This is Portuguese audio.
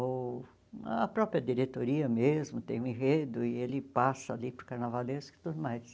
Ou a própria diretoria mesmo tem um enredo e ele passa ali para o carnavalesco e tudo mais.